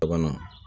Bana